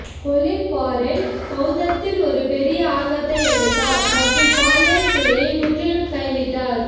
Colin Farrell பெளத்தத்தில் ஒரு பெரிய ஆர்வத்தை எடுத்தார் மற்றும் பாலியல் துறையை முற்றிலும் கைவிட்டார்